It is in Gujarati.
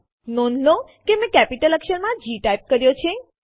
નોંધ લો કે મેં કેપિટલ અક્ષરમાં જી ટાઇપ કર્યો છે